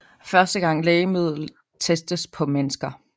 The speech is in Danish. Første gang lægemiddelet testes på mennesker